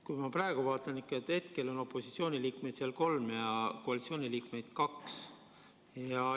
Kui ma praegu vaatan, siis hetkel on seal opositsiooniliikmeid kolm ja koalitsiooniliikmeid kaks.